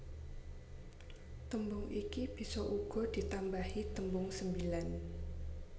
Tembung iki bisa uga ditambahi tembung sembilan